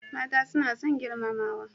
Mata suna son girmamawa.